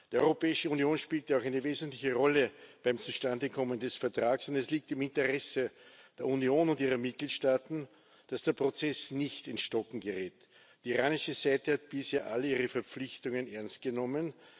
Die Europäische Union spielt ja auch eine wesentliche Rolle beim Zustandekommen des Vertrags, und es liegt im Interesse der Union und ihrer Mitgliedstaaten, dass der Prozess nicht ins Stocken gerät. Die iranische Seite hat bisher alle ihre Verpflichtungen ernst genommen.